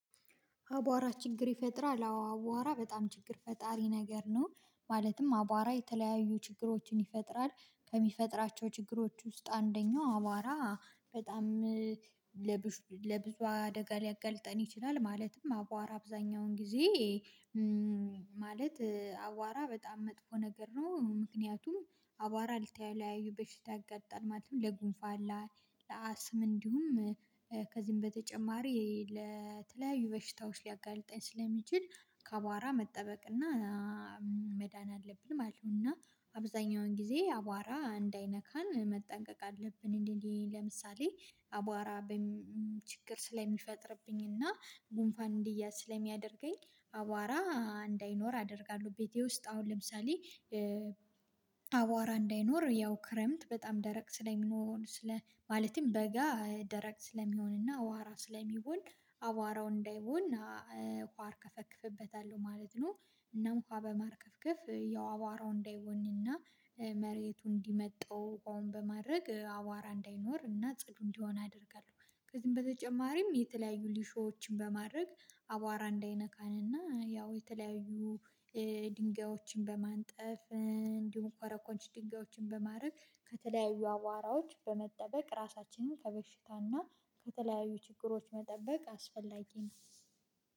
አቧራ ችግር ይፈጥራል አቧራ በጣም ችግር ፈጣሪ ነገር ነው። ማለትም አቧራ የተለያዩ ችግሮችን ይፈጥራል ከሚፈጥራቸው ችግሮች ውስጥ አንደኛው አቧራ በጣም ለብዙ ለብዙ አደጋ ሊያገልጠን ይችላል። ማለትም አቧራ አብዛኛውን ጊዜ ማለት አቧራ በጣም መጥፎ ነገር ነው። ምክንያቱም አቧራ ለተለያዩ በሽታ ያጋጥማል ማለት ነው። ለጉንፋና ላይ ለአስም እንዲሁም ከዚህም በተጨማሪ ለተለያዩ በሽታዎች ሊያጋልጣኝ ስለሚችል ከአቧራ መጠበቅ እና መዳን አለብን ማለት ነው። እና አብዛኛውን ጊዜ አቧራ እንዳይነካን መጠንቀቅ አለብን። እንዴ እንዴ ለምሳሌ አቧራ በችግር ስለሚፈጥርብኝ እና ጉንፋን እንዲያዝ ስለሚያደርገኝ አቧራ እንዳይኖር አደርጋለሁ። ቤቴ ውስጥ አሁን ለምሳሌ አቧራ እንዳይኖር ያው ክረምት በጣም ደረቅ ስለሚኖር ስለ ማለቴም በጋ ደረቅ ስለሚሆንና አቧራ ስለሚሆን አቧራው እንዳይቦን ውሃ አርከፈክፍበታለሁ ማለት ነው። እና ውሃ በማርከፍከፍ ያው አቧራው እንዳይቦንና መሬቱ እንዲመጣው በአሁን በማድረግ አቧራ እንዳይኖር እና ጽዱ እንዲሆን አደርጋለሁ። ከዚህም በተጨማሪም የተለያዩ ሊሾዎችን በማድረግ አቧራ እንዳይነካንና ያው የተለያዩ ድንጋዮችን በማንጠፍ እንዲሁም ኮረኮንች ድንጋዮችን በማድረግ ከተለያዩ አቧራዎች በመጠበቅ ራሳችንን ከበሽታና ከተለያዩ ችግሮች መጠበቅ አስፈላጊ ነው።